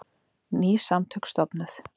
Ný samtök stofnuð